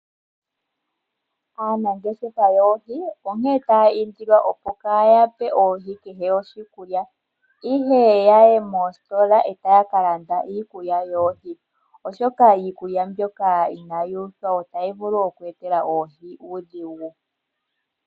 Aanangeshefa yoohi onkele taya indilwa opo kaa yape oohi kehe oshikulya ashike ya yi moositola e taya ka landa iikulya yoohi oshoka iikulya ina yi uthwa otayi vulu okweetela oohi omaudhigu.